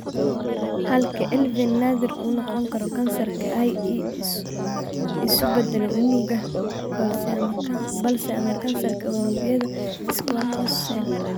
Halka ILVEN naadir uu noqon karo kansar (ie, isu beddelo unugga basal ama kansarka unugyada squamous cell).